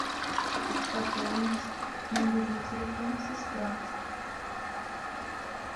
пополнить мобильный телефон сестра